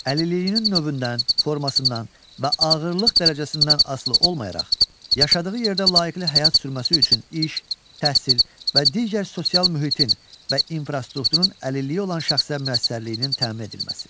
Əlilliyinin növündən, formasından və ağırlıq dərəcəsindən asılı olmayaraq, yaşadığı yerdə layiqli həyat sürməsi üçün iş, təhsil və digər sosial mühitin və infrastrukturun əlilliyi olan şəxsə müəssərliyinin təmin edilməsi.